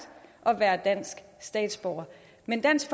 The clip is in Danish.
at være dansk statsborger men dansk